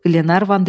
Qlenarvan dedi: